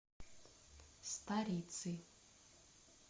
старицы